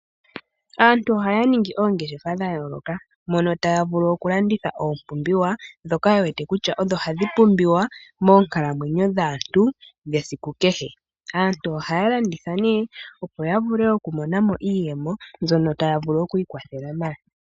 Aantu ohaya ningi oongeshefa dha yooloka, mono taya vulu okulanditha oompumbiwa ndhoka ye wete kutya odho hadhi pumbiwa moonkalamwenyo dhaantu dhesiku kehe. Aantu ohaya landitha, opo ya vule okumona mo iiyemo mbyono taya vulu oku ikwathela nayo.